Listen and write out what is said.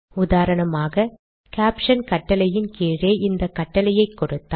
உதாரணமாக கேப்ஷன் கட்டளையின் கீழே இந்த கட்டளையை கொடுத்தால்